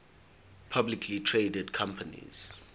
publicly traded companies